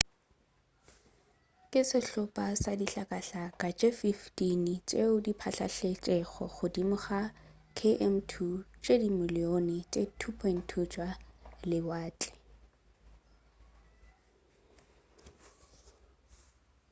ke sehlopa sa dihlakahlaka tše 15 tšeo di phatlaletšego godimo ga di km2 tše dimiliyone tše 2.2 tša lewatle